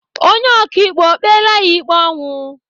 Onye ọkaikpe kpela ya ikpe ọnwụ?